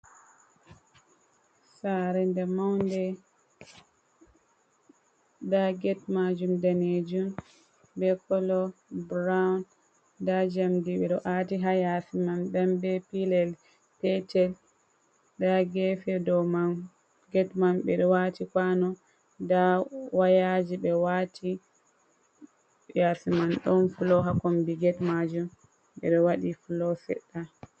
sare nda maunde da get majum danejum be kolo brown, nda jamdi ɓe ati ha yasi man ndan be pilel petel dari gefe ɗon get mam bir wati kano da wayaji be wati yasi man don flo ha kombi get majum bir wadi flosedda.